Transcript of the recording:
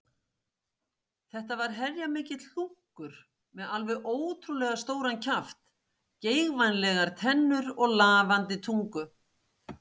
Þetta var heljarmikill hlunkur með alveg ótrúlega stóran kjaft, geigvænlegar tennur og lafandi tungu.